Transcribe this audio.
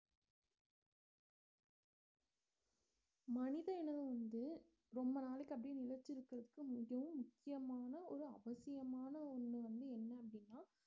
மனித இனம் வந்து ரொம்ப நாளைக்கு அப்படியே நிலைச்சு இருக்கிறதுக்கு மிகவும் முக்கியமான ஒரு அவசியமான ஒண்ணு வந்து என்ன அப்படின்னா